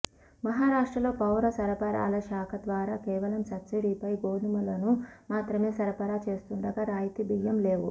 మహారాష్టల్రో పౌర సరఫరాలశాఖ ద్వారా కేవలం సబ్సిడీపై గోధుమలను మాత్రమే సరఫరా చేస్తుండగా రాయితీ బియ్యం లేవు